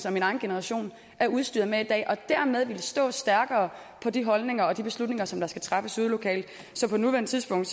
og min egen generation er udstyret med i dag og dermed ville vi stå stærkere på de holdninger og de beslutninger som skal træffes ude lokalt så på nuværende tidspunkt